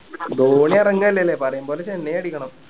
ധോണി എറങ്ങാ അല്ലേല്ലേ പറയും പോലെ ചെന്നൈ അടിക്കണം